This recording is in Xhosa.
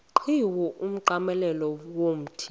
qhiwu umnqamlezo womthi